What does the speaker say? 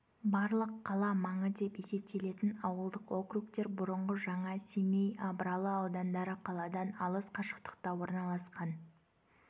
барлық қала маңы деп есептелетін ауылдық округтер бұрынғы жаңа семей абралы аудандары қаладан алыс қашықтықта орналасқан